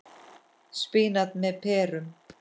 Spínat með perum